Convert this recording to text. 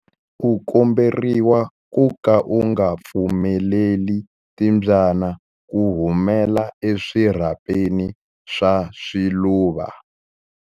U komberiwa ku ka u nga pfumeleli timbyana ku humela eswirhapeni swa swiluva.